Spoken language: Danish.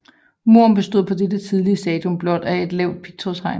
Muren bestod på dette tidlige stadium blot af et lavt pigtrådshegn